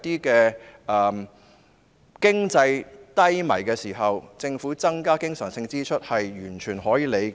在經濟低迷的時候，政府增加經常性支出，是完全可以理解的。